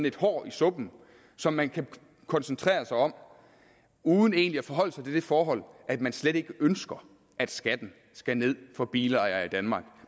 et hår i suppen som man kan koncentrere sig om uden egentlig at forholde sig til det forhold at man slet ikke ønsker at skatten skal ned for bilejere i danmark